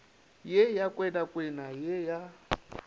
ye ya kwenakwena ye ya